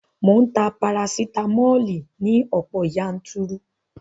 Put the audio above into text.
Mò ń ta parasitamoli ní ọ̀pọ̀ yanturu